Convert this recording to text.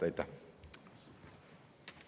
Aitäh!